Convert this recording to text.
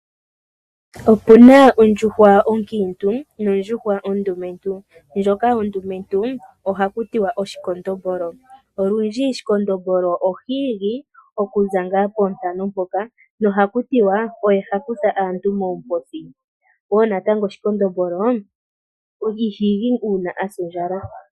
Otu na ondjuhwa onkiintu nondjuhwa ondumentu ndjoka ondumentu ohakutiwa oshikondobolo . Olundji shikondobolo ohi igi okuza ngaa poontano mpoka nohakutiwa oye hakutha aantu moomposi, oshowoo natango shikondobolo iha igi uuna asa ondjala.